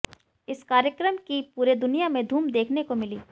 इस कार्यक्रम की पूरे दुनिया में धूम देखने को मिली